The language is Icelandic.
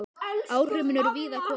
Áhrifin eru víða að komin.